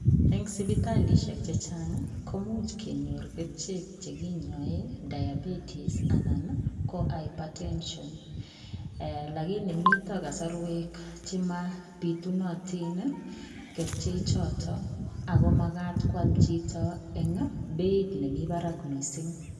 Eng sipitalishek chechaang komuuch kenyoor Kercheek chekinyaen diabetes anan ii ko hypertension lakini mitaa kasarweek chemaa bitunatiin ii kercheek chotoon ako magaat koyaak chichitoon en beit nemii baraak missing.